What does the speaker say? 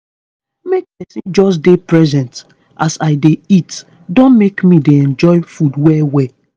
make pesin just dey present as i dey eat don make me dey enjoy food well well